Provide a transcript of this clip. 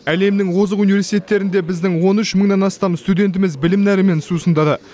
әлемнің озық университеттерінде біздің он үш мыңнан астам студентіміз білім нәрімен сусындады